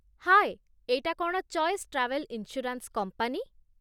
ହାଏ, ଏଇଟା କ'ଣ choice travel insurance company?